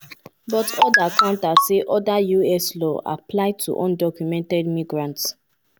but oda counter say oda us laws apply to undocumented migrants